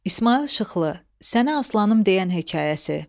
İsmayıl Şıxlı, Sənə aslanım deyən hekayəsi.